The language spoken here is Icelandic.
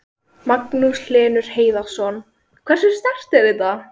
Magnús Hlynur Hreiðarsson: Hversu sterkt er þetta?